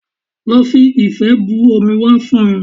Lọ fi ife bu omi wá fún mi